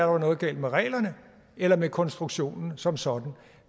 var noget galt med reglerne eller med konstruktionen som sådan